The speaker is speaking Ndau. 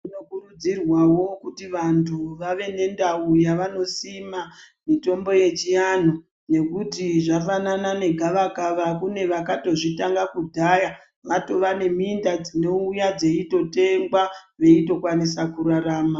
Zvinokurudzirwawo kuti vantu vave nendau yavanosima mitombo yechivanhu nekuti zvafanana negavakava kune vakatozvitanga kudhaya vatova neminda dzinouya dzeitotengwa veitokwanisa kurarama.